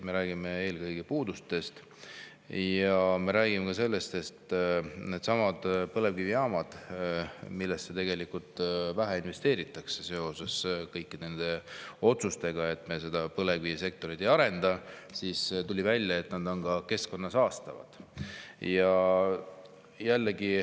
Me räägime eelkõige puudustest ja me räägime sellest, et needsamad põlevkivijaamad, millesse tegelikult vähe investeeritakse seoses kõikide nende otsustega, et me põlevkivisektorit ei arenda, on ka keskkonda saastavad.